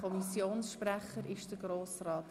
Kommissionssprecher der FiKo.